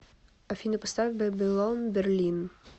афина поставь бэбилон берлин